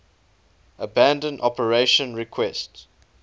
abandon operation requests